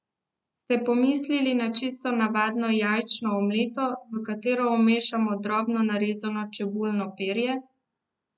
Ste pomislili na čisto navadno jajčno omleto, v katero zamešamo drobno narezano čebulno perje?